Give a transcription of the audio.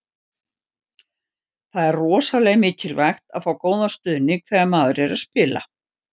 Það er rosalega mikilvægt að fá góðan stuðning þegar maður er að spila.